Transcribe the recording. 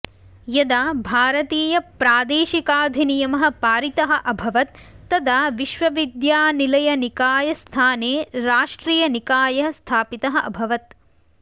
यदा भारतीयप्रादेशिकाधिनियमः पारितः अभवत् तदा विश्वविद्यानिलयनिकायस्थाने राष्ट्रियनिकायः स्थापितः अभवत्